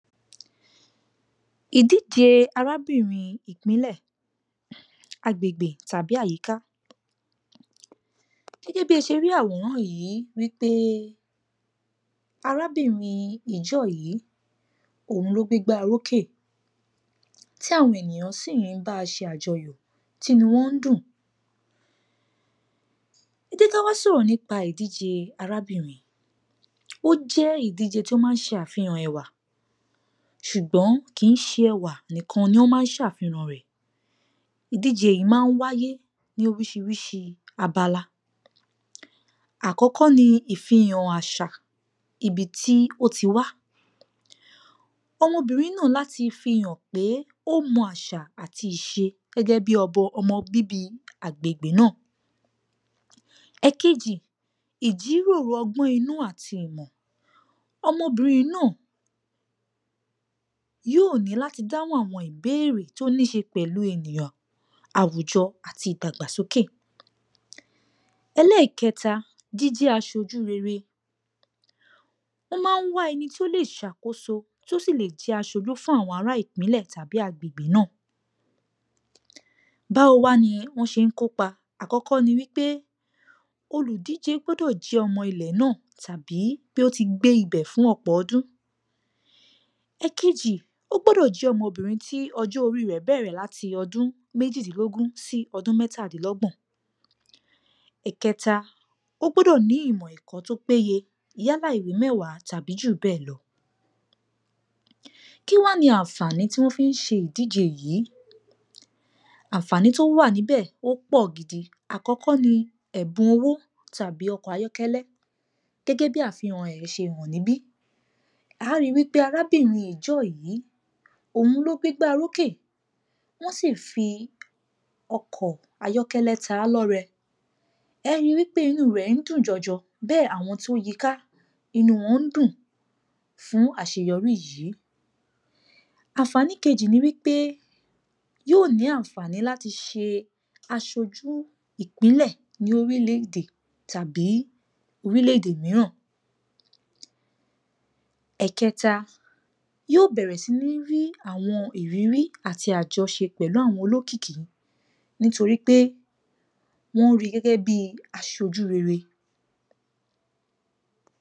Ìdíje arábìnrin ìpínlẹ̀, agbègbè tàbí àyíká. Gẹ́gẹ́ bí ẹ ṣe rí àwòrán yìí wípé arábìnrin Ìjọ́ yìí, òun ló gbégbá orókè, tí àwọn ènìyàn sì ń bá a ṣe àjọyọ̀, tí inú wọn ń dùn. Ẹ jẹ́ ká wá sọ̀rọ̀ nípa ìdíje arábìnrin, ó jẹ́ ìdíje tó máa ń ṣe àfihàn ẹwà, ṣùgbọ́n kì í ṣe ẹwà nìkan ló máa ń ṣàfihàn rẹ̀. Ìdíje yìí máa ń wáyé ní oríṣiríṣi abala. Àkọ́kọ́ ni ìfihàn àṣà ibi tí ó ti wá, ọmọbìnrin náà láti fi hàn pé ó mọ àṣà àti ìṣe gẹ́gẹ́ bí um, ọmọ bíbí agbègbè náà. Èkejì, ìjíròrò ọgbọ́n inú àti ìmọ̀. Ọmọbìnrin náà yóò ní láti dáhùn àwọn ìbéèrè tó ní i ṣe pẹ̀lú ènìyàn, àwùjọ àti ìdàgbàsókè. Ẹlẹ́ẹ̀keta, jíjẹ́ aṣojú rere. Wọ́n máa ń wá ẹni tó lè ṣàkóso, tó sì lè jẹ́ aṣojú fún àwọn ará ìpínlẹ̀ tàbí agbègbè náà. Báwo wá ni wọ́n ṣe ń kópa? Àkọ́kọ́ ni wípé olùdíje gbọ́dọ́ jẹ́ ọmọ ilẹ̀ náà, tàbí pé ó ti gbé ibẹ̀ fún ọ̀pọ̀ ọdún. Èkejì, ó gbọ́dọ̀ jẹ́ ọmọbìnrin tí ọjọ́ orí rẹ̀ bẹ̀rẹ̀ láti ọdún méjìdínlógún sí mẹ́tàdínlọ́gbọ̀n. Ìkẹ́ta, ó gbọ́dọ̀ ní ìmọ̀ ẹ̀kọ́ tó péye, yálà ìwé mẹ́wàá tàbí jù bẹ́ẹ̀ lọ. Kí wá ni àǹfàní tí wọ́n fi ń ṣe ìdíje yìí? Àǹfàní tó wà níbẹ̀ ó pọ̀ gidi. Àkọ́kọ́ ni ẹ̀bùn owó tàbí ọkọ̀ ayọ́kẹ́lẹ́, gẹ́gẹ́ bí àfihàn rẹ̀ ṣe hàn níbí, a ó ri wípé arábìnrin Ìjọ́ yìí, òun ló gbégbá orókè, wọ́n sì fi ọkọ̀ ayọ́kẹ́lẹ́ ta á lọ́rẹ, ẹ̀ ẹ́ ri wípé inú rẹ̀ dùn jọjọ bẹ́ẹ̀ sì ni àwọn tó yí i ká, inú wọn ń dùn fún àṣeyọrí yìí. Àǹfànì kejì ni wípé, yóò ní àǹfàní láti ṣe aṣojú ìpínlẹ̀ ní orílẹ̀-èdè tàbí orílẹ̀-èdè mìíràn. Ẹ̀kéta, yóò bẹ̀rẹ̀ sí ní rí àwọn ìrírí àti àjọṣe pẹ̀lú àwọn olókìkí, nítorí pé wọ́n ri gẹ́gẹ́ bí aṣojú rere.